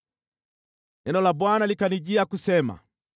Neno la Bwana likanijia kusema: